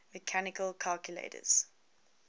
mechanical calculators